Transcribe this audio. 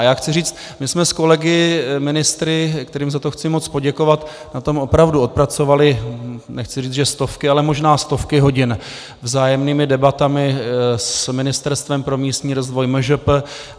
A já chci říct, my jsme s kolegy ministry, kterým za to chci moc poděkovat, na tom opravdu odpracovali - nechci říct, že stovky, ale možná stovky hodin vzájemnými debatami s Ministerstvem pro místní rozvoj, MŽP.